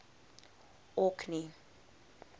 orkney